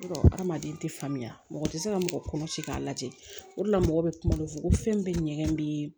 Hadamaden tɛ faamuya mɔgɔ tɛ se ka mɔgɔ kɔnɔci k'a lajɛ o de la mɔgɔ bɛ kuma dɔ fɔ ko fɛn bɛ ɲɛgɛn bɛ